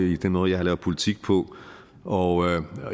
i den måde jeg har lavet politik på og